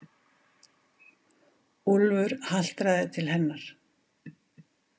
Úlfur haltraði til hennar.